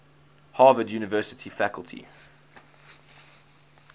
harvard university faculty